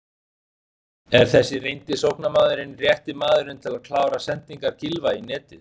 Er þessi reyndi sóknarmaðurinn rétti maðurinn til að klára sendingar Gylfa í netið?